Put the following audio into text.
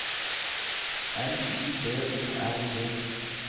N Y B O R G